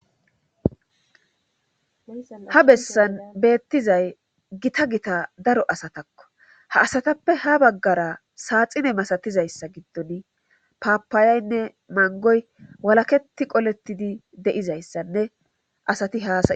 Ha bessan beettizay gita gita daro asatakko ha asatappe ha baggara saaxine masatizayssa giddon paapayaynne mangoy walaketi qoletidi deizayssanne asati haa...